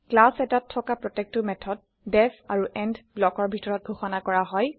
class এটাত থকা প্ৰত্যেকটা মেথড ডিইএফ আৰু এণ্ড ব্লকৰ ভিতৰত ঘোষণা কৰা হয়